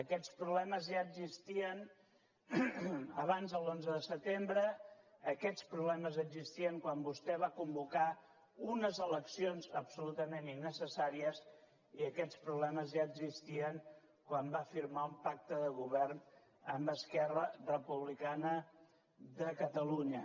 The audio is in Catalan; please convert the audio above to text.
aquests problemes ja existien abans de l’onze de setembre aquests problemes ja existien quan vostè va convocar unes eleccions absolutament innecessàries i aquests problemes ja existien quan va firmar un pacte de govern amb esquerra republicana de catalunya